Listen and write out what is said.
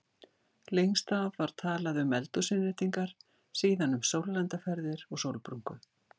Lengst af var talað um eldhúsinnréttingar, síðan um sólarlandaferðir og sólbrúnku.